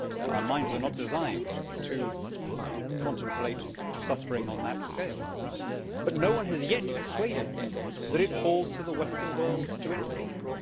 Our minds are not designed to contemplate suffering on that scale, but no one has yet persuaded me that it falls to the Western world to intervene.